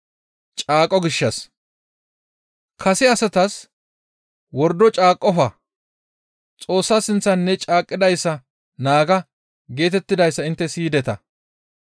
«Kase asatas, ‹Wordo caaqqofa; Xoossa sinththan ne caaqqidayssa naaga› geetettidayssa intte siyideta.